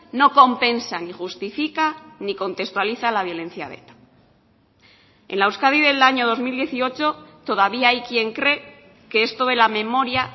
no compensa ni justifica ni contextualiza la violencia de eta en la euskadi del año dos mil dieciocho todavía hay quien cree que esto de la memoria